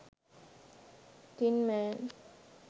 tin man